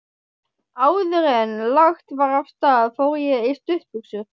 Áðuren lagt var af stað fór ég í stuttbuxur.